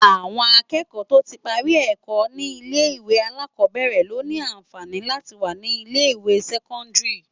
Awòn ákéèkò tó ti pári èkò ni ilé iwé àlákòbèrè ló ni ànfáni láti wá ni ilé iwé sèkòndári